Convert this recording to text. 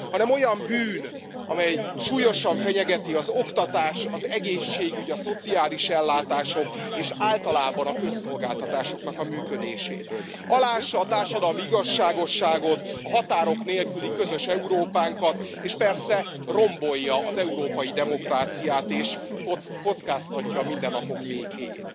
Ezért az adócsalás olyan bűn, amely súlyosan fenyegeti az oktatás, az egészségügy, a szociális ellátások és általában a közszolgáltatások működését, aláássa a társadalmi igazságosságot, a határok nélküli közös Európánkat, és persze rombolja az európai demokráciát, és kockáztatja a mindennapok békéjét.